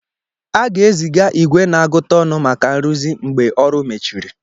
A ga-eziga igwe na-agụta ọnụ maka nrụzi mgbe ọrụ mechiri.